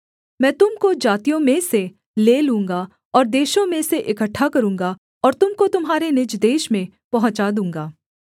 मैं तुम को जातियों में से ले लूँगा और देशों में से इकट्ठा करूँगा और तुम को तुम्हारे निज देश में पहुँचा दूँगा